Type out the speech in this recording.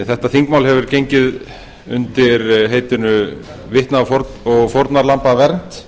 þetta þingmál hefur gengið undir heitinu vitna og fórnarlambavernd